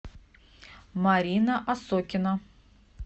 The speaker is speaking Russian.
марина осокина